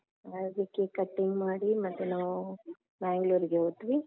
ಹಾಗೆ cake cutting ಮಾಡಿ ಮತ್ತೆ ನಾವು Mangalore ಗೆ ಹೋದ್ವಿ.